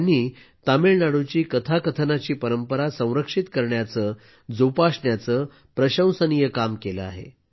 त्यांनी तामिळनाडूची कथाकथनाची परंपरा संरक्षित करण्याचं जोपासण्याचं प्रशंसनीय काम केलं आहे